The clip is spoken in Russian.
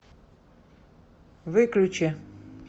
выключи